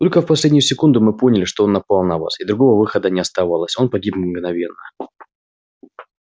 только в последнюю секунду мы поняли что он напал на вас и другого выхода не оставалось он погиб мгновенно